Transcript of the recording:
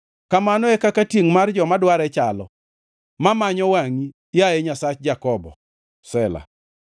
Kamano e kaka tiengʼ mar joma dware chalo, mamanyo wangʼi, yaye Nyasach Jakobo. Sela